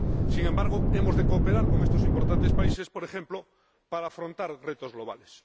Sin embargo, hemos de cooperar con estos importantes países, por ejemplo, para afrontar retos globales.